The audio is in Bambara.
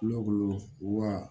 Kulo wa